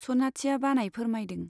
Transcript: सनाथिया बानाय फोरमायदों।